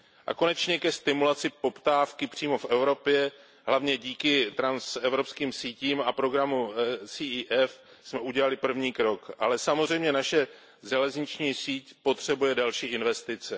A konečně ke stimulaci poptávky přímo v Evropě hlavně díky transevropským sítím a programu CEF jsme udělali první krok, ale samozřejmě naše železniční síť potřebuje další investice.